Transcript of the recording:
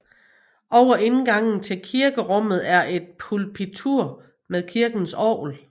Over indgangen til kirkerummet er et pulpitur med kirkens orgel